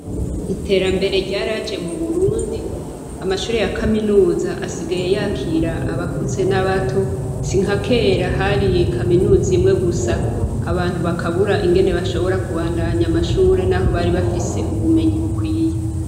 Iterambere ryaraje mu Burundi, amashure ya kaminuza asigaye yakira abakuze n'abato. Si nka kera hari kaminuza imwe gusa, abantu bakabura ingene bashobora kubandanya amashure n'aho bari bafise ubumenyi bukwiye.